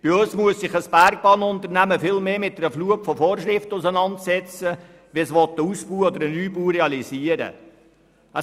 Bei uns muss sich ein Bergbahnunternehmen mit einer viel grösseren Flut von Vorschriften auseinandersetzen, wenn es einen Ausbau oder Neubau realisieren will.